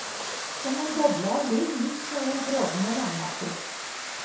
Som en boble av liv midt mellom frådende vannmasser.